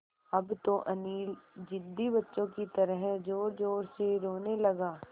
अब तो अनिल ज़िद्दी बच्चों की तरह ज़ोरज़ोर से रोने लगा